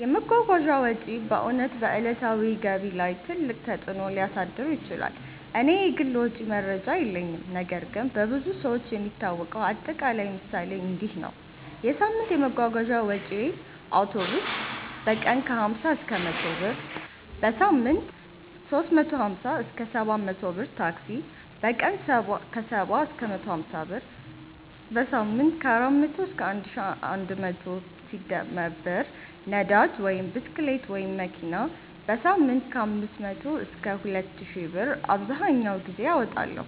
የመጓጓዣ ወጪ በእውነት በዕለታዊ ገቢ ላይ ትልቅ ተፅእኖ ሊያሳድር ይችላል። እኔ የግል ወጪ መረጃ የለኝም ነገር ግን በብዙ ሰዎች የሚታወቀው አጠቃላይ ምሳሌ እንዲህ ነው፦ የሳምንት የመጓጓዣ ወጪዬ አውቶቡስ: በቀን 50–100 ብር → በሳምንት 350–700 ብር ታክሲ: በቀን 70–150 ብር → በሳምንት 400–1100+ ብር ነዳጅ (ብስክሌት/መኪና): በሳምንት 500–2000+ ብር አብዘሀኛውን ጊዜ አወጣለሁ